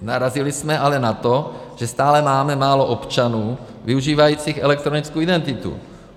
Narazili jsme ale na to, že stále máme málo občanů využívajících elektronickou identitu.